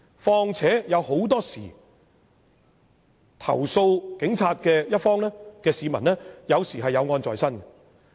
況且，投訴警務人員的市民很多時均有案在身。